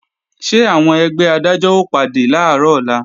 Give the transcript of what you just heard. Ṣé àwọn ẹgbẹ́ Adájọ́ ó pàdé làárọ̀ ọ̀la?